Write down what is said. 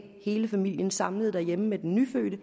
hele familien samlet derhjemme med den nyfødte